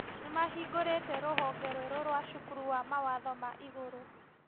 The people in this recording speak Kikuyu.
Nĩmahingũrĩte rũhonge rwerũ rwa cukuru wa matho ma igũrũ